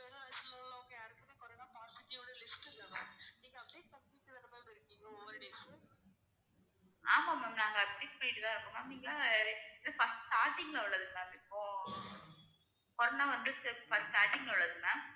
ஆமா ma'am நாங்க admit பண்ணிட்டுதான் இருக்கோம் ma'am நீங்க first starting ல உள்ளது ma'am இப்போ corona வந்து first starting ல உள்ளது ma'am